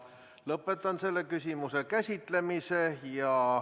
Lõpetan selle küsimuse käsitlemise.